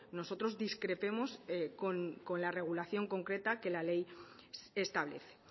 nosotros discrepemos con la regulación concreta que la ley establece